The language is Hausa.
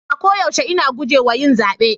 A koyaushe ina guje wa yin zabe.